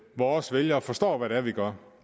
vores vælgere forstår hvad det er vi gør